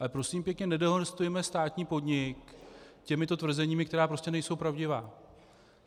Ale prosím pěkně, nedehonestujme státní podnik těmito tvrzeními, která prostě nejsou pravdivá.